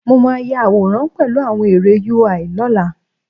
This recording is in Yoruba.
Mo máa ya àwòrán pẹ̀lú àwọn ère UI lọ́la